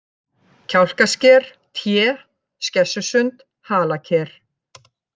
Kjálkasker, Té, Skessusund, Halaker